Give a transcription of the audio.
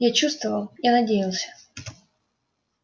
я чувствовал я надеялся